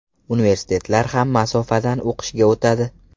Universitetlar ham masofadan o‘qishga o‘tadi.